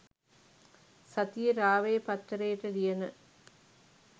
සතියෙ රාවය පත්තරේට ලියන